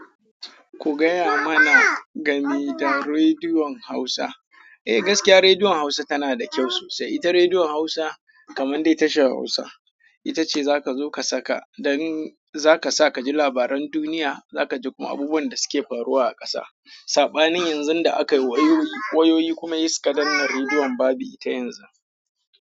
Ku gaya mana game da Rediyon Hausa. Eh, gaskiya Rediyon Hausa tana da kyau sosai. Ita Rediyon Hausa kamar dai tashar Hausa. Ita ce za ka zo ka saka domin za ka sa ka ji labaran duniya. Za ka ji kuma abubuwan da suke faruwa a ƙasa. Saɓanin yanzun da aka yi wayoyi, wayoyi kuma sai suka danne Rediyon babu ita yanzu.